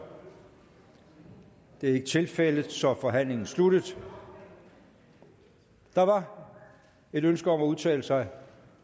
det er ikke tilfældet og så er forhandlingen sluttet der var et ønske om at udtale sig